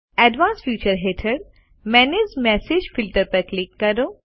advanced features હેઠળ manage message filters પર click કરો